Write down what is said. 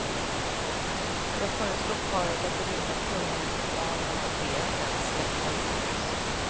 Jag föreslog paret att ringa tunnelbanan och be den släppa ut oss.